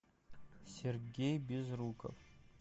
сергей безруков